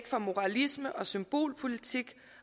fra moralisme og symbolpolitik